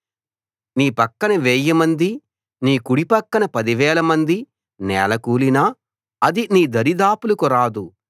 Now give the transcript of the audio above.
నీ పక్కన వేయి మంది నీ కుడిపక్కన పదివేల మంది నేలకూలినా అది నీ దరిదాపులకు రాదు